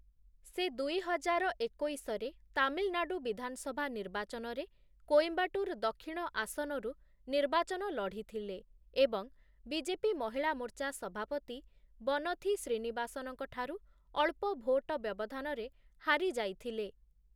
ସେ ଦୁଇହଜାର ଏକୋଇଶ ରେ ତାମିଲନାଡ଼ୁ ବିଧାନସଭା ନିର୍ବାଚନରେ କୋଏମ୍ବାଟୁର ଦକ୍ଷିଣ ଆସନରୁ ନିର୍ବାଚନ ଲଢ଼ିଥିଲେ ଏବଂ ବିଜେପି ମହିଳା ମୋର୍ଚ୍ଚା ସଭାପତି ବନଥି ଶ୍ରୀନିବାସନଙ୍କ ଠାରୁ ଅଳ୍ପ ଭୋଟ ବ୍ୟବଧାନରେ ହାରିଯାଇଥିଲେ ।